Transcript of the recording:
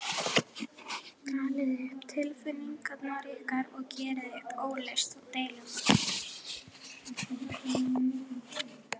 Talið um tilfinningar ykkar og gerið upp óleyst deilumál.